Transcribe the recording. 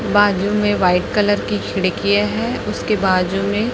बाजू में white colour की खिड़की है उसके बाजू में--